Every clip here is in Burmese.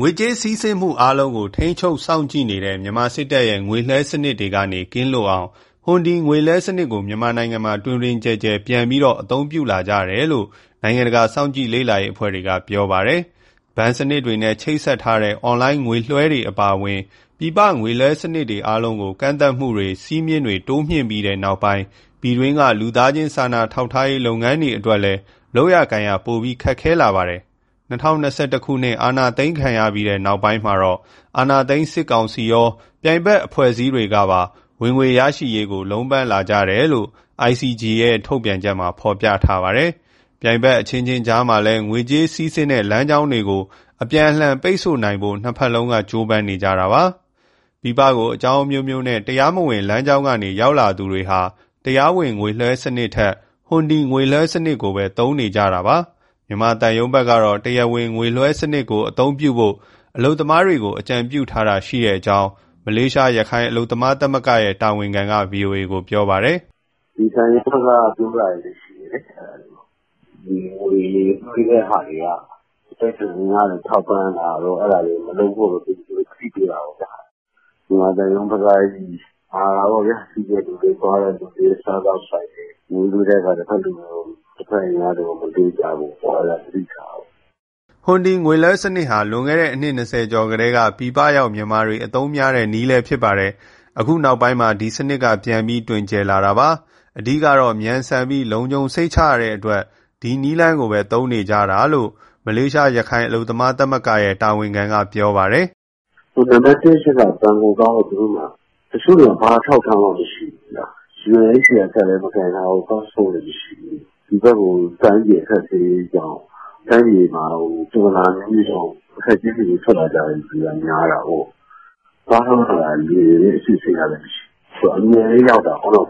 ငွေကြေးစီးဆင်းမှု အားလုံးကို ထိန်းချုပ်စောင့်ကြည့်နေတဲ့ မြန်မာစစ်တပ်ရဲ့ ငွေလွှဲစနစ်တွေကနေ ကင်းလွတ်အောင် ဟွန်ဒီငွေလွှဲစနစ်ကို မြန်မာနိုင်ငံမှာ တွင်တွင်ကျယ်ကျယ် ပြန်ပြီးတော့ အသုံးပြုလာကြတယ်လို့ နိုင်ငံတကာစောင့်ကြည့်လေ့လာရေးအဖွဲ့တွေက ပြောနေပါတယ်။ ဘဏ်စနစ်တွေနဲ့ ချိတ်ဆက်ထားတဲ့ အွန်လိုင်းငွေလွှဲတွေအပါအဝင် ပြည်ပငွေလွှဲစနစ်တွေ အားလုံးကို ကန့်သတ်မှုတွေ စည်းမျဉ်းတွေ တိုးမြင့်ပြီးနောက်ပိုင်း ပြည်တွင်းက လူသားချင်း စာနာထောက်ထားရေး လုပ်ငန်းတွေအတွက်လည်း လုပ်ကိုင်ရ ပိုပြီးခက်ခဲလာပါတယ်။ ၂၀၂၁ အာဏာသိမ်းခံရပြီး နောက်ပိုင်းမှာ အာဏာသိမ်းစစ်ကောင်စီရော ပြိုင်ဘက်အဖွဲ့အစည်းတွေကပါ ဝင်ငွေရရှိရေးအတွက် လုံးပမ်းလာကြတယ်လို့ ICG ရဲ့ ဒီနေ့ ထုတ်ပြန်ချက်မှာ ဖော်ပြထားတာပါ။ ပြိုင်ဖက်အချင်းချင်း ကြားမှာလည်း ငွေကြေးစီးဆင်းတဲ့ လမ်းကြောင်းတွေကို အပြန်အလှန် ပိတ်ဆို့နိုင်ဖို့ နှစ်ဖက်လုံးက ကြိုးပမ်းနေကြတာပါ။ ပြည်ပကို အကြောင်းအမျိုးမျိုးနဲ့ တရားမဝင် လမ်းကြောင်းကနေ ရောက်လာသူတွေဟာ တရားဝင်ငွေလွှဲစနစ်ထက် ဟွန်ဒီငွေလွှဲစနစ်ကိုပဲ သုံးနေကြတာပါ။ မြန်မာသံရုံးဘက်ကတော့ တရားဝင်ငွေလွှဲစနစ်ကို အသုံးပြုဖို့ အလုပ်သမားတွေကို အကြံပြုတာရှိကြောင်း မလေးရှား ရခိုင်အလုပ်သမား သမဂ္ဂရဲ့ တာဝန်ခံက ဗွီအိုအေကို ပြောပါတယ်။ " ဒီသံရုံးဘက်က ပြောတာတွေလည်း ရှိတယ်လေ၊ ငွေလွှဲတဲ့ဟာတွေက အတိုက်အခံတွေကို ထောက်ပံ့တာတို့ အဲဒါတွေကို မလုပ်ဖို့ သူတို့သတိပေးတာ ပေါ့ဗျာ။ မြန်မာသံရုံးဘက်က မှာတာပေါ့ဗျာ၊ သွားတဲ့သူတွေ၊ စားသောက်ဆိုင်တွေ ငွေလှူတဲ့အခါ တဖက်အင်အားတွေကို မလှူကြဖို့ အဲဒါကို သတိထားဖို့။" ဟွန်ဒီငွေလွှဲစနစ်ကို လွန်ခဲ့တဲ့ အနှစ်၂၀ကျော်ကတည်းက ပြည်ပရောက် မြန်မာတွေ အသုံးများတဲ့ နည်းလည်းဖြစ်ပါတယ်။ အခုနောက်ပိုင်းမှာ ဒီစနစ်က ပြန်ပြီး တွင်ကျယ်လာတာပါ။ အဓိကတော့ မြန်ဆန်ပြီး လုံခြုံစိတ်ချရတဲ့အတွက် ဒီနည်းလမ်းကိုပဲ သုံးနေကြတာလို့ မလေးရှား ရခိုင်အလုပ်သမားသမဂ္ဂရဲ့ တာဝန်ခံက ပြောပါတယ်။ "နံပတ်တစ်အချက်က ဘဏ်ကိုသွားဖို့ သူတို့မှာ တချို့ဆိုရင် ဘာအထောက်အထားမှ မရှိဘူးဗျ၊ UNHCR ကတ်လည်း မကိုင်ထားဘူး၊ ပတ်စ်ပို့လည်း မရှိဘူး။ ဒီဘက်ကို တိုင်းပြည် အခက်အခဲကြောင့်၊ တိုင်းပြည်မှာ ပြဿနာ အမျိုးမျိုးကြောင့် အခက်အခဲတွေနဲ့ ထွက်လာကြတဲ့သူက များတာကိုး။ သွားထုတ်ရတာလည်း လွယ်တယ်လေ၊ အစစ်အဆေးကလည်း မရှိ။ ဆိုတော့ အမြန်လည်း ရောက်တာကိုး။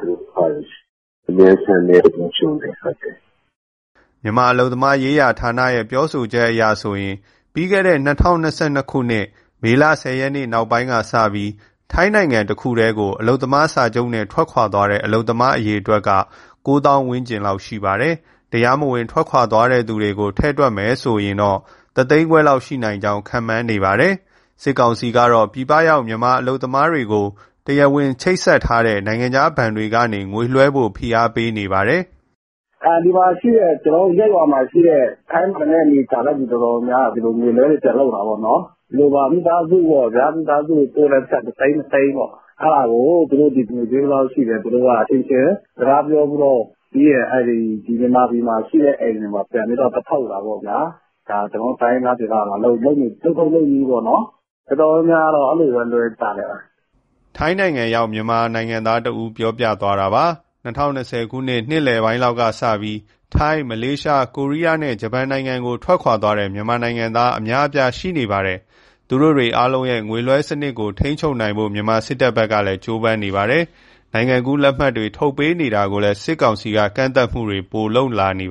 မြန်ဆန်တယ်၊ လုံခြုံတယ်။" မြန်မာအလုပ်သမားရေး ဌာနရဲ့ ပြောဆိုချက်အရဆိုရင် ပြီးခဲ့တဲ့ ၂၀၂၂ မေလ၁၀ရက် နောက်ပိုင်းကစပြီး ထိုင်းတခုတည်းကို အလုပ်သမားစာချုပ်နဲ့ ထွက်ခွာသွားတဲ့ အလုပ်သမား အရေအတွက်က ၉ သောင်း ဝန်းကျင်ရှိပါတယ်။ တရားမဝင် ထွက်ခွာတဲ့သူတွေကိုပါ ထည့်တွက်မယ်ဆိုရင် တသိန်းခွဲလောက် ရှိနိုင်ကြောင်း ခန့်မှန်းနေတာလည်း ရှိပါတယ်။ စစ်ကောင်စီကတော့ ပြည်ပရောက် မြန်မာအလုပ်သမားတွေကို တရားဝင်ချိတ်ဆက်ထားတဲ့ နိုင်ငံခြား ဘဏ်တွေကနေ ငွေလွှဲဖို့ ဖိအားပေးနေပါတယ်။ " ကျနော်တို့ ဒီမှာရှိတဲ့ ထိုင်းမှာအနေကြာတဲ့သူ အတော်များများက ဒီလိုငွေလွှဲတွေ ပြန်လုပ်တာတောပေါ့နော်။ ဒီလိုပါ မိသားစုကိုပို့တဲ့ပိုက်ဆံ တသိန်း၊ နှစ်သိန်းပေါ့ အဲဒါကို သူတို့ငွေဈေး ဘယ်လောက်ရှိတယ်၊ အချင်းချင်း စကားပြောပြီးတော့ ပြီးရင် မြန်မာပြည်မှာရှိတဲ့ အိမ်တွေမှာ ပြန်ပြီးသွားထုတ်တာပေါ့ဗျာ။ ဒါကျနော်တို့ တိုင်းရင်းသားဒေသမှာ လုပ်ထုံးလုပ်နည်းပေါ့နော်။ တော်တော်များများကတော့ အဲလိုပဲ လွှဲကြတယ်။" ထိုင်းရောက် မြန်မာနိုင်ငံသားတဦး ပြောပြသွားတာပါ။ ၂၀၂၂ နှစ်လယ်ပိုင်းကစပြီး ထိုင်း၊ မလေးရှား၊ ကိုရီးယားနဲ့ ဂျပန်ကို ထွက်ခွာသွားတဲ့ မြန်မာနိုင်ငံသား အများအပြား ရှိနေပါတယ်။ သူတို့အားလုံးရဲ့ ငွေလွှဲစနစ်ကို ထိန်းချုပ်နိုင်ဖို့ မြန်မာစစ်တပ်ဘက်က ကြိုးပမ်းနေပါတယ်။ နိုင်ငံကူးလက်မှတ် ထုတ်ပေးနေတာတွေကိုလည်း စစ်ကောင်စီက ကန့်သတ်မှုတွေပိုလုပ်လာပါ